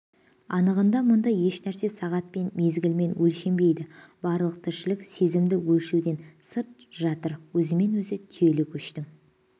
анығында мұнда еш нәрсе сағатпен мезгілмен өлшенбейді барлық тіршілік мерзімді өлшеуден сырт жатыр өзімен-өзі түйелі көштің